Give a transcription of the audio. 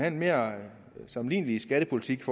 en mere sammenlignelig skattepolitik